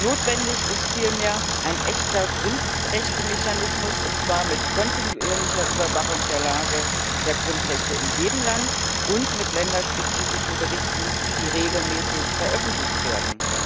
Notwendig ist vielmehr ein echter Grundrechtemechanismus, und zwar mit kontinuierlicher Überwachung der Lage der Grundrechte in jedem Land, und mit länderspezifischen Berichten, die regelmäßig veröffentlicht werden.